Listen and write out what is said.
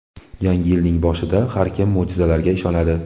Yangi yilning boshida har kim mo‘jizalarga ishonadi.